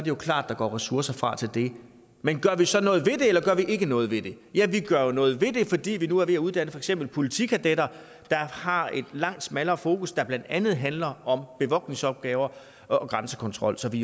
jo klart at der går ressourcer fra til det men gør vi så noget ved det eller gør vi ikke noget ved det ja vi gør noget ved det fordi vi nu er ved at uddanne for eksempel politikadetter der har et langt smallere fokus som blandt andet handler om bevogtningsopgaver og grænsekontrol så vi